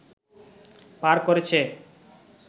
পার করেছে